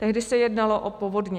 Tehdy se jednalo o povodně.